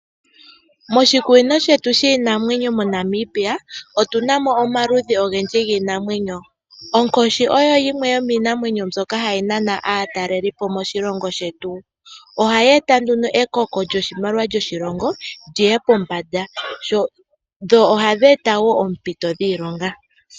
Moshikunino shetu shiinamwenyo moNamibia otuna mo omaludhi ogendji giinamwenyo. Onkoshi oyo yimwe yomiinamwenyo mbyoka hayi nana aatalelipo moshilongo shetu. Ohayi eta nduno ekoko lyoshimaliwa sho shilongo lyiye pombanda dho ohadi eta wo oompito dhiilonga.